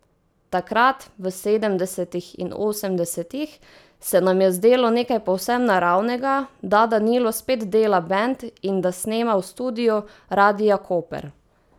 Takrat, v sedemdesetih in osemdesetih, se nam je zdelo nekaj povsem naravnega, da Danilo spet dela bend in da snema v studiu Radia Koper.